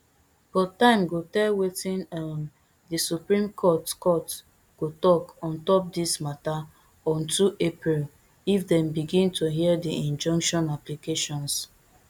but time go tell wetin um di supreme court court go tok on top dis matter on two april if dem begin to hear di injunction applications